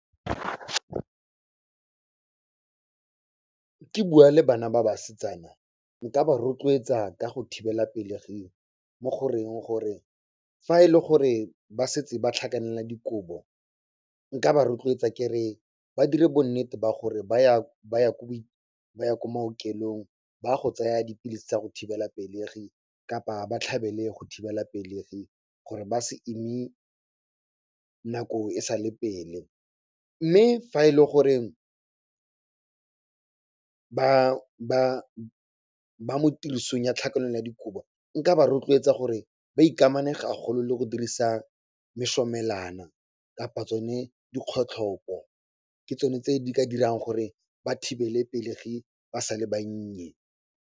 Ke bua le bana ba basetsana, nka ba rotloetsa ka go thibela pelegi mo goreng gore fa e le gore ba setse ba tlhakanela dikobo, nka ba rotloetsa kere ba dire bonnete ba gore ba ya ko maokelong ba go tsaya dipilisi tsa go thibela pelegi kapa ba tlhabele go thibela pelegi gore ba se ime nako e sa le pele. Mme fa e le gore ba mo tirisong ya tlhakanelo ya dikobo, nka ba rotloetsa gore ba ikamane gagolo le go dirisa mosomelwano kapa tsone dikgotlhopo. Ke tsone tse di ka dirang gore ba thibele pelegi ba sale bannye.